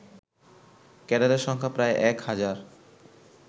ক্যাডারের সংখ্যা প্রায় এক হাজার